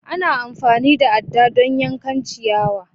Ana amfani da adda don yankan ciyawa